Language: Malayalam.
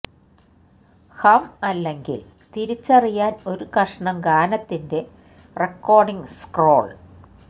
ഹം അല്ലെങ്കിൽ തിരിച്ചറിയാൻ ഒരു കഷണം ഗാനത്തിന്റെ റെക്കോർഡിംഗ് സ്ക്രോൾ